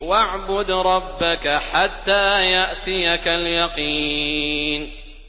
وَاعْبُدْ رَبَّكَ حَتَّىٰ يَأْتِيَكَ الْيَقِينُ